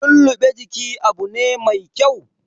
Lulluɓe jiki Abu ne mai kyau